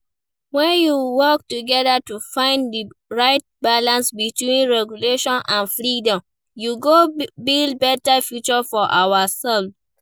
When we work together to find di right balance between regulation and freedom, we go build beta future for ourselves.